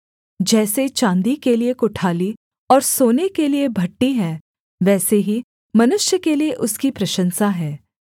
जैसे चाँदी के लिये कुठाली और सोने के लिये भट्ठी हैं वैसे ही मनुष्य के लिये उसकी प्रशंसा है